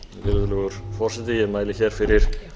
virðulegur forseti ég mæli fyrir